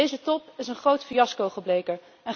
Deze top is een groot fiasco gebleken.